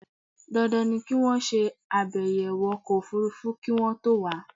Dandan ni kí wọ́n ṣe àbẹ̀yẹwọ̀ ọkọ̀ òfúrúfú kí wọ́n to wà á